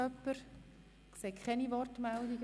– Ich sehe keine Wortmeldungen.